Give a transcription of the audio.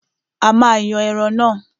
A máa yan ẹran náà.